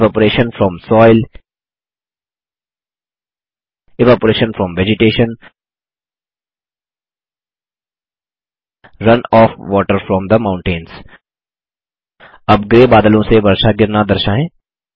evaporation from soil evaporation from vegetation run off water from the mountains अब ग्रै बादलों से वर्षा गिरना दर्शाएँ